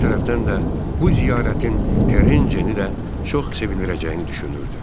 Bir tərəfdən də bu ziyarətin Terecinini də çox sevindirəcəyini düşünürdü.